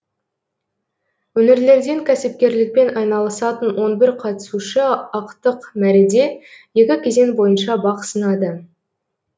өңірлерден кәсіпкерлікпен айналысатын он бір қатысушы ақтық мәреде екі кезең бойынша бақ сынады